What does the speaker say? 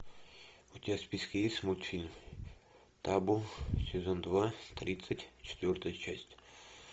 у тебя в списке есть мультфильм табу сезон два тридцать четвертая часть